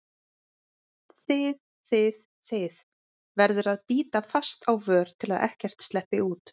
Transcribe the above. þið þið, þið- verður að bíta fast á vör til að ekkert sleppi út.